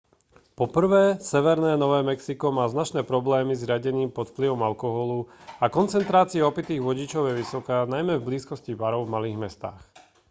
po prvé severné nové mexiko má značné problémy s riadením pod vplyvom alkoholu a koncentrácia opitých vodičov je vysoká najmä v blízkosti barov v malých mestách